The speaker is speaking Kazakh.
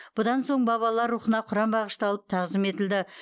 бұдан соң бабалар рухына құран бағышталып тағзым етілді